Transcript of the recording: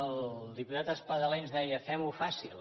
el diputat espadaler ens deia fem ho fàcil